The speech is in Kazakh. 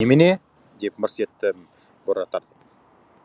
немене деп мырс еттім бұра тартып